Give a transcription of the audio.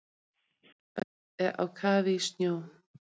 Höfuðborgarsvæðið á kafi í snjó